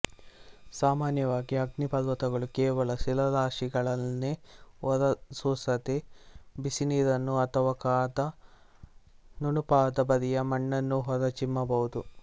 ಸಾಮಾನ್ಯವಾಗಿ ಅಗ್ನಿಪರ್ವತಗಳು ಕೇವಲ ಶಿಲಾರಸಾದಿಗಳನ್ನೇ ಹೊರಸೂಸದೆ ಬಿಸಿನೀರನ್ನೋ ಅಥವಾ ಕಾದ ನುಣುಪಾದ ಬರಿಯ ಮಣ್ಣನ್ನೋ ಹೊರ ಚಿಮ್ಮಬಹುದು